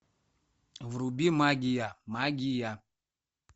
вруби магия магия